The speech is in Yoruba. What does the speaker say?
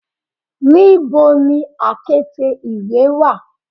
Nibo ni akete iwe wa